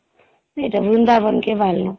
ଏଇ ଯଉ ବୃନ୍ଦାବନ କେ ବାହାରଲୁ